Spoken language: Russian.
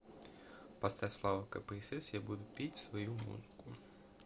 поставь слава кпсс я буду петь свою музыку